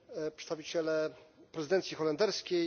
Przedstawiciele prezydencji holenderskiej!